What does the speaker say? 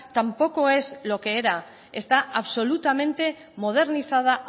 tampoco es lo que era está absolutamente modernizada